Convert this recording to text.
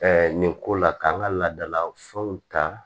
nin ko la k'an ka laadala fɛnw ta